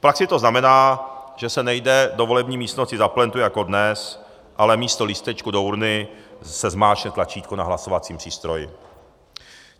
V praxi to znamená, že se nejde do volební místnosti za plentu jako dnes, ale místo lístečku do urny se zmáčkne tlačítko na hlasovacím přístroji.